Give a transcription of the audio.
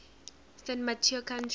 san mateo county